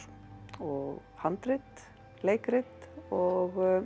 og handrit leikrit og